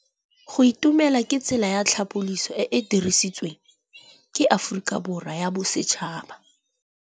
Go itumela ke tsela ya tlhapolisô e e dirisitsweng ke Aforika Borwa ya Bosetšhaba.